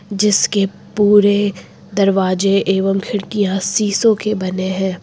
जिसके पूरे दरवाजे एवं खिड़कियां शीशों के बने हैं।